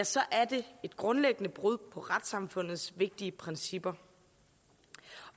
så er det et grundlæggende brud på retssamfundets vigtige principper